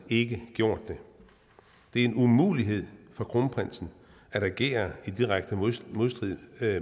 ikke havde gjort det det er en umulighed for kronprinsen at agere i direkte modstrid med